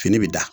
Fini bi da